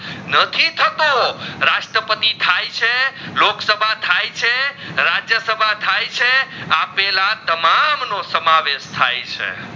નથી થતો રસત્રપતિ થઈ છે લોક સભા થઈ છે રાજ્ય સભા થઈ છે આપેલા તમામ નો સમાવેસ થઈ છે